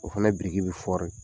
O fana biriki bɛ